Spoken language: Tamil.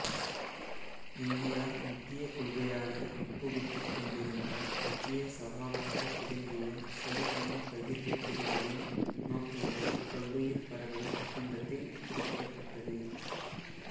இந்தியா முக்கிய கொள்கையாக உட்புகுத்தி கொண்டிருந்த முக்கிய சவாலாக விளங்கிய சரிசம பகிர்வு பெறுதலின் நோக்கங்கள் பல்லுயிர்பரவல் ஒப்பந்தத்தில் குறிப்பிடப்பட்டது